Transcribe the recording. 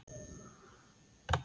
Súpa og brauð borin fram.